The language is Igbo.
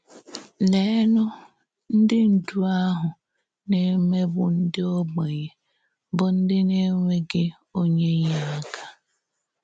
Leènụ̀, ǹdí ndú ahụ na-émégbu ǹdí ògbénye, bụ́ ǹdí na-ènwèghì onye ínyèáká!